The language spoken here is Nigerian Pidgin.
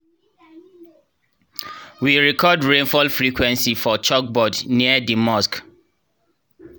we record rainfall frequency for chalkboard near di mosque.